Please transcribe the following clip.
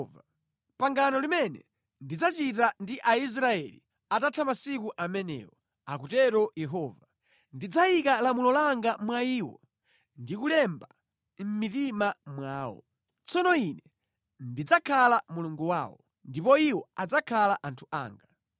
“Ili ndi pangano limene ndidzachita ndi Aisraeli atapita masiku amenewo,” akutero Yehova. “Ndidzayika lamulo langa mʼmitima mwawo ndi kulilemba mʼmaganizo mwawo. Ine ndidzakhala Mulungu wawo ndipo iwo adzakhala anthu anga.